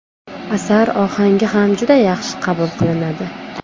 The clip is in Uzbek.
Asar ohangi ham juda yaxshi qabul qilinadi.